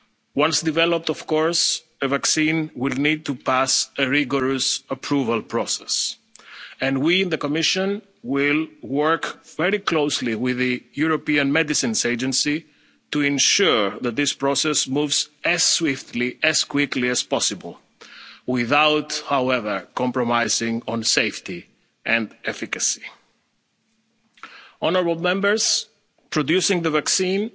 trials. Once developed, of course, a vaccine would need to pass a rigorous approval process, and we in the Commission will work very closely with the European Medicines Agency to ensure that this process moves as swiftly and as quickly as possible without, however, compromising on safety and efficacy. Producing